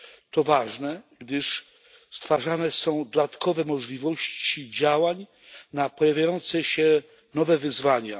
To ważne, gdyż stwarzane są dodatkowe możliwości działań w odpowiedzi na pojawiające się nowe wyzwania.